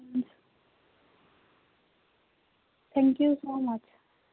Thank you so much